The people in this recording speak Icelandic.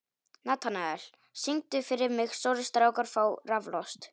Natanael, syngdu fyrir mig „Stórir strákar fá raflost“.